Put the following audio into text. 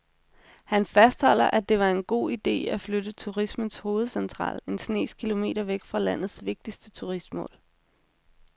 Han fastholder, at det var en god ide at flytte turismens hovedcentral en snes kilometer væk fra landets vigtigste turistmål.